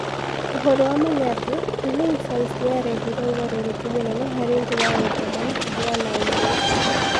Ũhoro wa ma nĩ atĩ, Renaissance nĩyarehire ũgarũrũku mũnene harĩ njĩra ya gũthoma na ya kũheana ũmenyo.